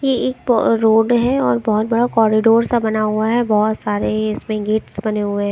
ये एक रोड है और बहोत बड़ा कॉरिडोर सा बना हुआ है और बहोत सारे इसमे गेट्स से बने हुए--